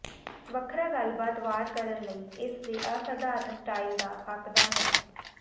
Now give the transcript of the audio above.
ਵੱਖਰਾ ਗੱਲਬਾਤ ਵਾਰ ਕਰਨ ਲਈ ਇਸ ਦੇ ਅਸਾਧਾਰਨ ਸਟਾਈਲ ਦਾ ਹੱਕਦਾਰ ਹੈ